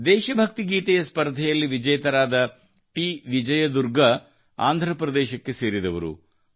ದೇಶ ಭಕ್ತಿ ಗೀತೆಯ ಸ್ಪರ್ಧೆಯಲ್ಲಿ ವಿಜೇತರಾದ ಟಿ ವಿಜಯ ದುರ್ಗಾ ಆಂಧ್ರಪ್ರದೇಶಕ್ಕೆ ಸೇರಿದವರು